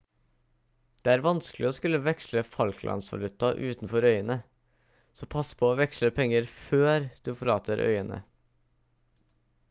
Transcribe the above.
det er vanskelig å skulle veksle falklandsvaluta utenfor øyene så pass på å veksle penger før du forlater øyene